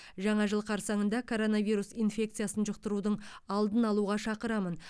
жаңа жыл қарсаңында коронавирус инфекциясын жұқтырудың алдын алуға шақырамын